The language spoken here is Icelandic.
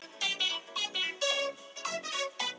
Nafni hans greikkaði sporið, lækkaði röddina og sagði